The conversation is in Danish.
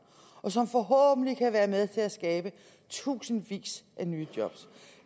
og som forhåbentlig kan være med til at skabe tusindvis af nye job